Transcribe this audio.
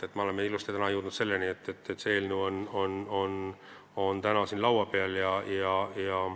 Ja me oleme ilusti jõudnud selleni, et see eelnõu on täna siin laua peal.